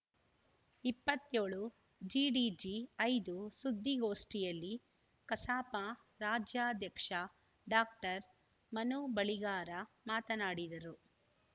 ಇಪ್ಪತ್ಯೋಳು ಜಿಡಿಜಿ ಐದು ಸುದ್ದಿಗೋಷ್ಠಿಯಲ್ಲಿ ಕಸಾಪ ರಾಜ್ಯಾಧ್ಯಕ್ಷ ಡಾಕ್ಟರ್ ಮನು ಬಳಿಗಾರ ಮಾತನಾಡಿದರು